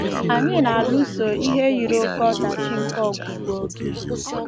Anyị na-alụso ihe yiri oké ọdachi nke ọgwụgwụ oge